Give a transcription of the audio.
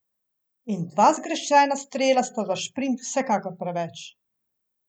In dva zgrešena strela sta za šprint vsekakor preveč.